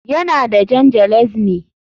Yana da Jan ŽELEZNÝ